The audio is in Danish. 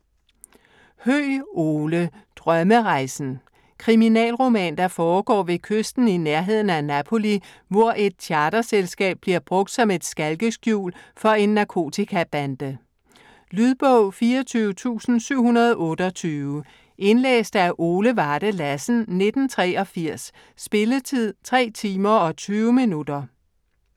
Høeg, Ole: Drømmerejsen Kriminalroman, der foregår ved kysten i nærheden af Napoli, hvor et charterselskab bliver brugt som et skalkeskjul for en narkotikabande. Lydbog 24728 Indlæst af Ole Varde Lassen, 1983. Spilletid: 3 timer, 20 minutter.